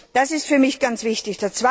Das ist für mich ganz wichtig.